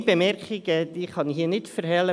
Eine Bemerkung kann ich mir nicht verkneifen: